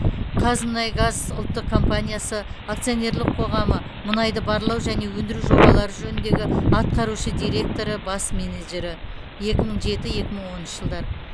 қазмұнайгаз ұлттық компаниясы акционерлік қоғамы мұнайды барлау және өндіру жобалары жөніндегі атқарушы директоры бас менеджері екі мың жеті екі мың оныншы жылдары